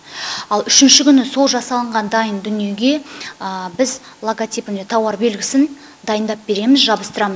ал үшінші күні сол жасалынған дайын дүниеге біз логотипіне тауар белгісін дайындап береміз